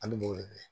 An b'o de kɛ